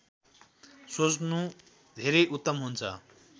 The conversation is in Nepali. सोच्नु धेरै उत्तम हुन्छ